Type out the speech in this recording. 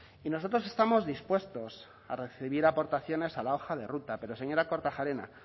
y nosotros estamos dispuestos a recibir aportaciones a la hoja de ruta pero señora kortajarena